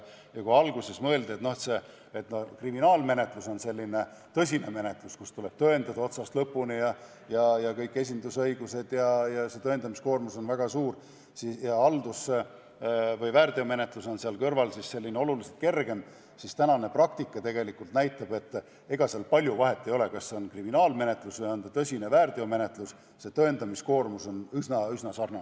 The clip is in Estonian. Kui alguses mõeldi, et kriminaalmenetlus on selline tõsine menetlus, kus tuleb kõike tõendada otsast lõpuni, on kõik esindusõigused ja tõendamiskoormus on väga suur, ning väärteomenetlus on seal kõrval oluliselt kergem, siis praktika näitab, et ega seal palju vahet ei ole, kas see on kriminaalmenetlus või on see tõsine väärteomenetlus, tõendamiskoormus on üsna-üsna sarnane.